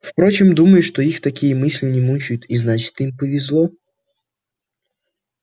впрочем думаю что их такие мысли не мучают и значит им повезло